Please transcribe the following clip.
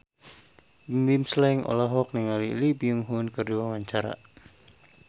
Bimbim Slank olohok ningali Lee Byung Hun keur diwawancara